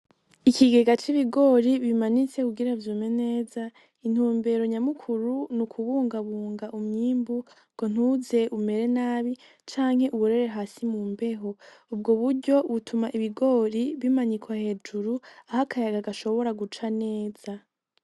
Ikigega c'ibigori bimanitse kugira vyume neza intumbero nyamukuru ni ukubungabunga umyimbu ngo ntuze umere nabi canke uburere hasi mu mbeho ubwo buryo butuma ibigori bimanyikwa hejuru aho akayaga gashobora guca neza.